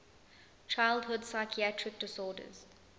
childhood psychiatric disorders